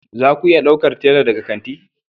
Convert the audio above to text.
Za ku iya ɗaukar tela daga kanti